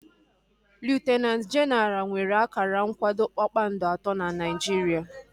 Liutinanti jenaral nwere akara nkwado kpakpando atọ na Naijiria